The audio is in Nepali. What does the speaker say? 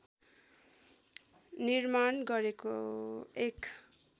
निर्माण गरेको एक